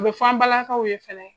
A bɛ fɔ an balakaw ye fana.